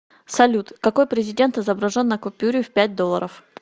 салют какой президент изображен на купюре в пять долларов